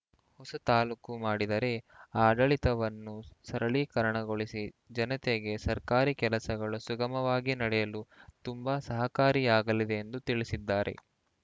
ಹೊಸ ತಾಲೂಕು ಮಾಡಿದರೆ ಆಡಳಿತವನ್ನು ಸರಳೀಕರಣಗೊಳಿಸಿ ಜನತೆಗೆ ಸರ್ಕಾರಿ ಕೆಲಸಗಳು ಸುಗಮವಾಗಿ ನಡೆಯಲು ತುಂಬಾ ಸಹಕಾರಿಯಾಗಲಿದೆ ಎಂದು ತಿಳಿಸಿದ್ದಾರೆ